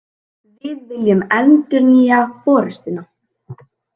Við viljum endurnýja forustuna